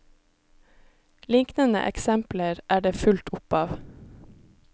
Liknende eksempler er det fullt opp av.